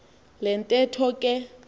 le ntetho ke